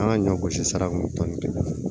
An ka ɲɔ gosi sira kan